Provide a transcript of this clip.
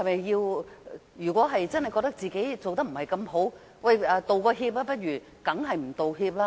如果真的覺得自己做得不好，是否應該道歉？